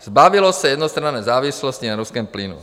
zbavilo se jednostranné závislosti na ruském plynu.